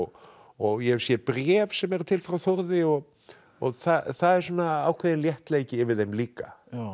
og ég hef séð bréf sem eru til frá Þórði og og það er svona ákveðinn léttleiki yfir þeim líka